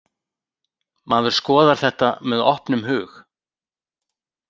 Maður skoðar þetta með opnum hug.